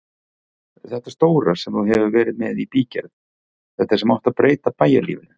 Þetta stóra sem þú hefur verið með í bígerð, þetta sem átti að breyta bæjarlífinu.